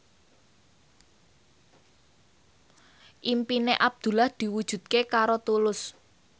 impine Abdullah diwujudke karo Tulus